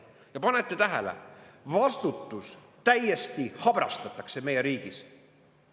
" Ja panete tähele, vastutus täiesti habrastatakse meie riigis.